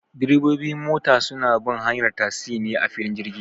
Direbobi mota suna bin hanyar tasi ne a filin jirgi